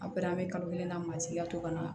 An pɛrɛn be kalo kelen na masi ka to ka na